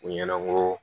U ɲɛna ko